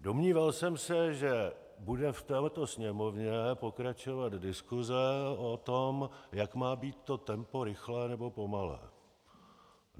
Domníval jsem se, že bude v této Sněmovně pokračovat diskuse o tom, jak má být toto tempo rychlé nebo pomalé.